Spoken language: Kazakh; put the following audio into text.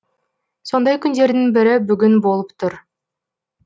сондай күндердің бірі бүгін болып тұр